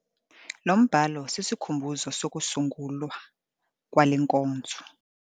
Lo mbhalo sisikhumbuzo sokusungulwa kwale nkonzo.